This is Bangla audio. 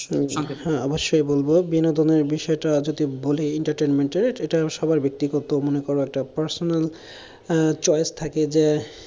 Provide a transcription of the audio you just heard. হ্যাঁ, অবশ্যই বলবো বিনোদনের বিষয়টা যদি বলি entertainment এটা ব্যক্তিগত মনে করো একটা personal আহ choice থাকে যে,